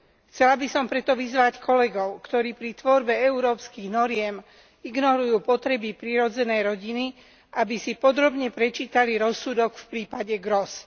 Chcela by som preto vyzvať kolegov, ktorí pri tvorbe európskych noriem ignorujú potreby prirodzenej rodiny, aby si podrobne prečítali rozsudok v prípade Gros.